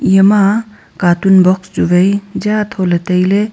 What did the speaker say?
iyama catoon box chu vai jaa tho ley tailey.